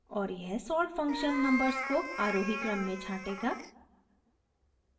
और यह sort function numbers को आरोही क्रम में छांटेगा